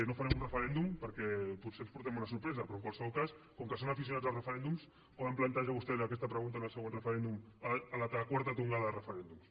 no farem un referèndum perquè potser ens emportem una sorpresa però en qualsevol cas com que són aficionats als referèndums poden plantejar vostès aquesta pregunta en el següent referèndum a la quarta tongada de referèndums